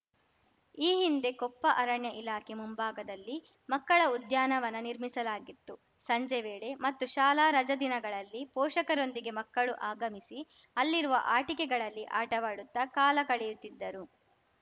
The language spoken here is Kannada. ಈ ಹಿಂದೆ ಕೊಪ್ಪ ಅರಣ್ಯ ಇಲಾಖೆ ಮುಂಭಾಗದಲ್ಲಿ ಮಕ್ಕಳ ಉದ್ಯಾನವನ ನಿರ್ಮಿಸಲಾಗಿತ್ತು ಸಂಜೆ ವೇಳೆ ಮತ್ತು ಶಾಲಾ ರಜಾ ದಿನಗಳಲ್ಲಿ ಪೋಷಕರೊಂದಿಗೆ ಮಕ್ಕಳು ಆಗಮಿಸಿ ಅಲ್ಲಿರುವ ಆಟಿಕೆಗಳಲ್ಲಿ ಆಟವಾಡುತ್ತ ಕಾಲ ಕಳೆಯುತ್ತಿದ್ದರು